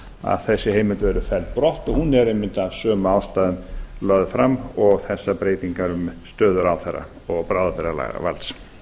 að þessi heimild verði felld brott og hún er einmitt af sömu ástæðum lögð fram og þessar breytingar um stöðu ráðherra og bráðabirgðalagavald